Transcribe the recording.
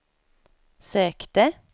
sökte